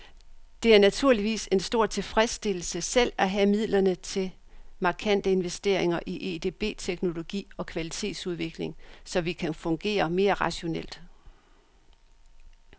Det er naturligvis en stor tilfredsstillelse selv at have midlerne til markante investeringer i edb-teknologi og kvalitetsudvikling, så vi kan fungere mere rationelt.